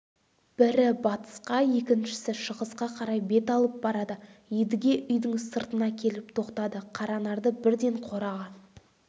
бірі батысқа екіншісі шығысқа қарай бет алып барады едіге үйдің сыртына келіп тоқтады қаранарды бірден қораға